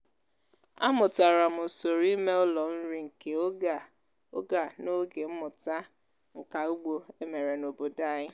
amụtara m usoro ime ụlọ nri nke oge a oge a n'oge mmụta nka ugbo e mere n'obodo anyị.